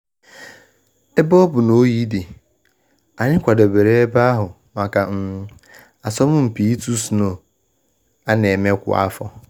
Ebe ọ bụ na oyi dị, anyị kwadebere ebe ahụ maka um asomumpi itu snow ana eme kwa afo.